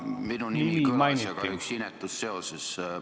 Minu nimi kõlas, aga ühes inetus seoses.